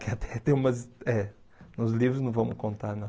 Que até tem umas... É, nos livros não vamos contar, não.